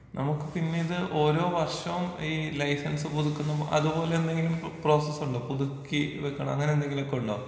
നമ്മുക്ക് പിന്നെയിത് ഓരോ വർഷോം ഈ ലൈസീൻസ് പുതുക്കുന്ന അതുപോലെ എന്തെങ്കിലും പ്രോസസ്സുണ്ടോ? പുതുക്കി വെക്കണ അങ്ങനെ എന്തെങ്കിലുമൊക്കെ ഉണ്ടോ?